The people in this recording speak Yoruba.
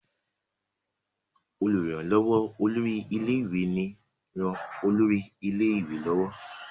olùrànlówó olórí ilé ìwé ní ràn olórí ilé ìwé lọwọ.